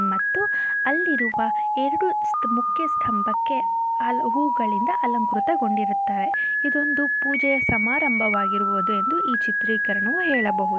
ಮತ್ತು ಅಲ್ಲಿರುವ ಎರಡು ಮುಖ್ಯಸ್ಥಂಭಕ್ಕೆ ಹಲ ಹೂಗಳಿಂದ ಅಲಂಕೃತಗೊಂಡಿರುತ್ತದೆ. ಇದೊಂದು ಪೂಜೆಯ ಸಮಾರಂಭವಾಗಿರುವುದು ಎಂದು ಈ ಚಿತ್ರೀಕರಣವು ಹೇಳಬಹುದು.